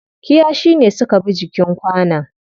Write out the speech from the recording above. Kiyashi ne suka bi jikin kwanon.